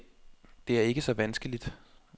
Det er ikke så vanskeligt.